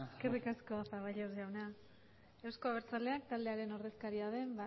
eskerrik asko zaballos jauna euzko abertzaleak taldearen ordezkaria den